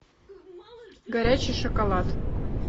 горячий шоколад